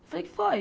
Falei o que foi.